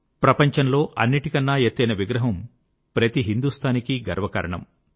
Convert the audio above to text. ప్రపంచంలో అన్నిటికన్న ఎత్తైన విగ్రహం ప్రతి హిందూస్తానీకి గర్వకారణం